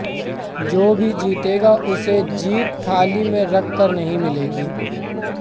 जो भी जीतेगा उसे जीत थाली में रखकर नहीं मिलेगी